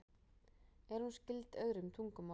Er hún skyld öðrum tungumálum?